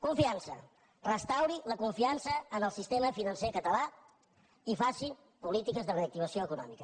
confiança restauri la confiança en el sistema financer català i faci política de reactivació econòmica